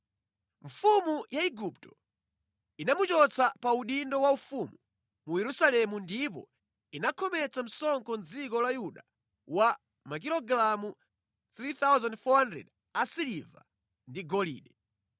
Mfumu ya Igupto inamuchotsa pa udindo wa ufumu mu Yerusalemu ndipo inakhometsa msonkho dziko la Yuda wa makilogalamu 3,400 asiliva ndi agolide.